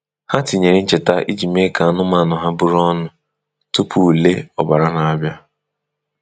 Ha tinyere ncheta iji mee ka anụmanụ ha bụrụ ọnụ tupu ule ọbara na-abịa.